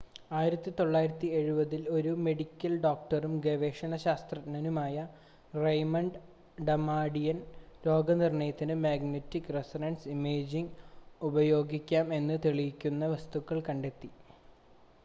1970-ൽ ഒരു മെഡിക്കൽ ഡോക്ടറും ഗവേഷക ശാസ്ത്രജ്ഞനുമായ റെയ്മണ്ട് ഡമാടിയൻ രോഗനിർണയത്തിന് മാഗ്നെറ്റിക് റെസൊണൻസ് ഇമേജിങ്ങ് ഉപയോഗിക്കാം എന്നത് തെളിയിക്കുന്ന വസ്തുതകൾ കണ്ടെത്തി